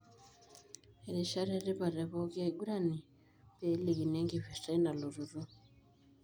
Erishata etipat tepoki aigurani, pelikini enkipirta einalototo.